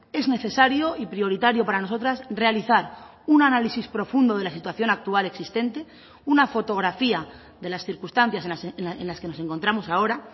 es necesario y prioritario para nosotras realizar un análisis profundo de la situación actual existente una fotografía de las circunstancias en las que nos encontramos ahora